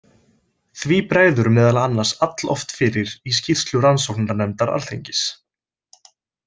Því bregður meðal annars alloft fyrir í skýrslu rannsóknarnefndar Alþingis.